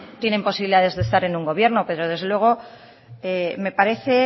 tienen posibilidades de estar en un gobierno pero desde luego me parece